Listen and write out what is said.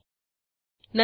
त्यासाठी ब्राऊजर वर जाऊ